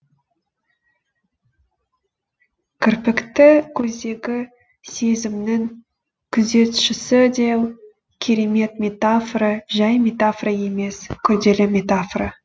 кірпікті көздегі сезімнің күзетшісі деу керемет метафора жай метафора емес күрделі метафора